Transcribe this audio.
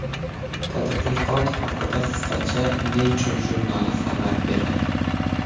Tadqiqot haqida qisqacha Nature jurnali xabar beradi .